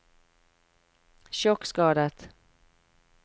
sjokkskadet